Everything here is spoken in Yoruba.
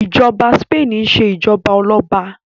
ìjoba Spain ṣe ijọba Ọlọba